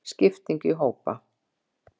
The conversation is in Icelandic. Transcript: Skipting í hópa.